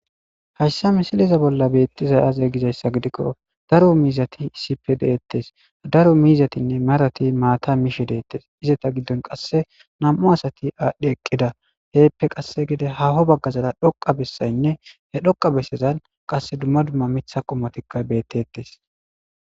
Haysa misileza bolla beetizayi aze gizaysa gidikon daro mizati issippe de'etesi, daro mizatinne marati maata mishe detesi, izeta gidon qase nam'u asati adhi eqida heppe qase haaho bagazara dhoqa besayinne he dhoqa besazani qase dumma dumma Mitha qomotika betesi.